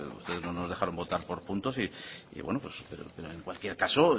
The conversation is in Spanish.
ustedes no nos dejaron votar por puntos y bueno pues en cualquier caso